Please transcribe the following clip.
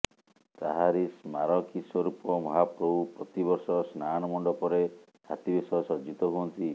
ତାହାରି ସ୍ମାରକୀ ସ୍ୱରୂପ ମହାପ୍ରଭୁ ପ୍ରତିବର୍ଷ ସ୍ନାନମଣ୍ଡପରେ ହାତୀବେଶ ସଜ୍ଜିତ ହୁଅନ୍ତି